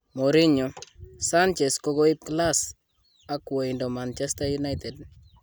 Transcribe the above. Mourinho : sanchez kokoib 'class' ak woindo Manchester United.